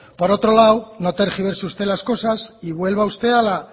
por otro lado no tergiverse usted las cosas y vuelva usted a la